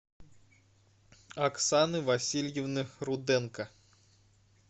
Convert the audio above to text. оксаны васильевны руденко